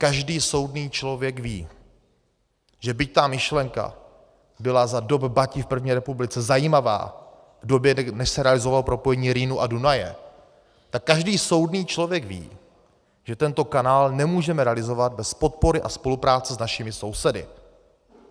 Každý soudný člověk ví, že byť ta myšlenka byla za dob Bati v první republice zajímavá, v době, než se realizovalo propojení Rýnu a Dunaje, tak každý soudný člověk ví, že tento kanál nemůžeme realizovat bez podpory a spolupráce s našimi sousedy.